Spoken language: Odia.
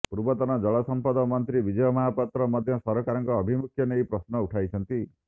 ପୂର୍ବତନ ଜଳସଂପଦ ମନ୍ତ୍ରୀ ବିଜୟ ମହାପାତ୍ର ମଧ୍ୟ ସରକାରଙ୍କ ଆଭିମୁଖ୍ୟ ନେଇ ପ୍ରଶ୍ନ ଉଠାଇଛନ୍ତି